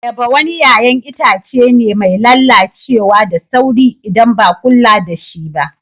Ayaba wani yayan Itace be mai lallacewa da sauri, idan ba kulla da shi ba